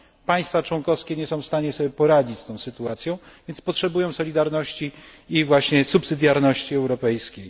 Państwa członkowskie nie są w stanie poradzić sobie z tą sytuacją, więc potrzebują solidarności i subsydiarności europejskiej.